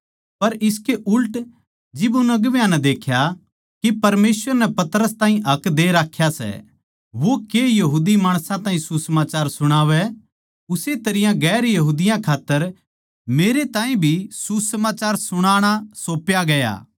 पर इसके उल्ट जिब उन अगुवां नै देख्या के परमेसवर नै पतरस ताहीं हक दे राख्या सै वो के यहूदी माणसां ताहीं सुसमाचार सुणावै उस्से तरियां गैर यहूदियाँ के खात्तर मेरै ताहीं भी सुसमाचार सुणाना सौप्या ग्या